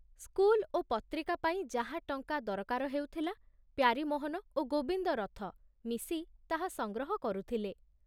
School ଓ ପତ୍ରିକା ପାଇଁ ଯାହା ଟଙ୍କା ଦରକାର ହେଉଥିଲା ପ୍ୟାରୀମୋହନ ଓ ଗୋବିନ୍ଦ ରଥ ମିଶି ତାହା ସଂଗ୍ରହ କରୁଥିଲେ।